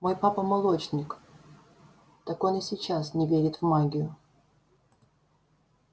мой папа молочник так он и сейчас не верит в магию